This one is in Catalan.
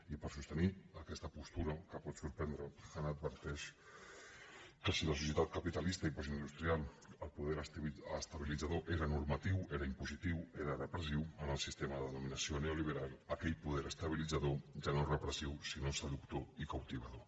i per sostenir aquesta postura que pot sorprendre han adverteix que si a la societat capitalista i postindustrial el po·der estabilitzador era normatiu era impositiu era re·pressiu en el sistema de dominació neoliberal aquell poder estabilitzador ja no és repressiu sinó seductor i captivador